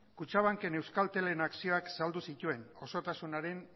kutxabankek euskaltelen akzioak saldu zituen osotasunaren